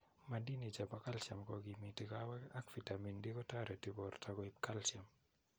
Maadini chepo calcium kogimiyi kowek ak vitamin D kotereti borto koib calcium.